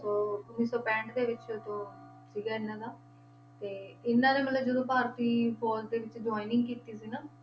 ਅਹ ਉੱਨੀ ਸੌ ਪੈਂਹਠ ਦੇ ਵਿੱਚ ਜੋ ਸੀਗਾ ਇਹਨਾਂ ਦਾ ਤੇ ਇਹਨਾਂ ਨੇ ਮਤਲਬ ਜਦੋਂ ਭਾਰਤੀ ਫ਼ੌਜ਼ ਦੇ ਵਿੱਚ joining ਕੀਤੀ ਸੀ ਨਾ,